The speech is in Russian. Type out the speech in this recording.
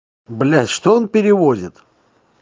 блять что он перевозит